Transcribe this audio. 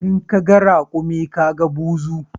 In ka ga rakumi ka ga buzu